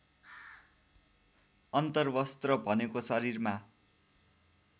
अन्तर्वस्त्र भनेको शरीरमा